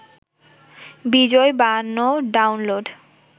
বিজয় বায়ান্ন ডাউনলোড